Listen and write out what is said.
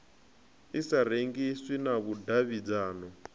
i sa rengiswi na vhudavhidzano